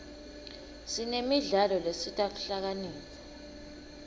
sinemidlalo lesita kuhlakanipha